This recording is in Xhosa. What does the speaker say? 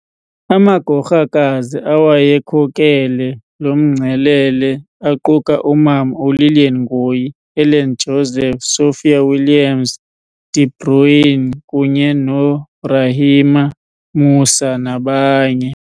Amagorhakazi awayekhokele lomngcelele aquka u Mama u Lilian Ngoyi, Helen Joseph, Sophia Williams- De Bruyn kunye no Rahima Moosa nabanye.